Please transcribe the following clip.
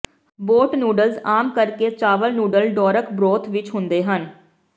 boat noodles ਆਮ ਕਰਕੇ ਚਾਵਲ ਨੂਡਲ ਡੋਰਕ ਬਰੋਥ ਵਿਚ ਹੁੰਦੇ ਹਨ